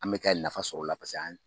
An bɛ ka nafa sɔrɔ o la